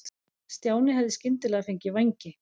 Stjáni hefði skyndilega fengið vængi.